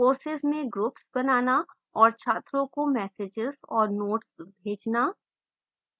courses में groups बनाना और छात्रों को messages और notes भेजना